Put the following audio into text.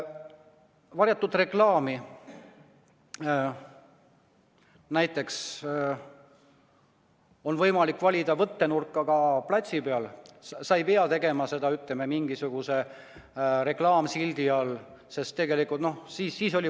Varjatud reklaami on võimalik valida võttenurka ka platsi peal, sa ei pea tegema seda mingisuguse reklaamsildi all.